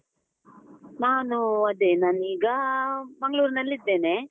ನಾನು, ಅದೇ ನಾನೀಗ ಮಂಗಳೂರಿನಲ್ಲಿದ್ದೇನೆ.